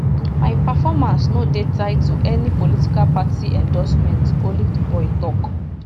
my performance no dey tied to any political party endorsement olivetheboy tok